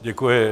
Děkuji.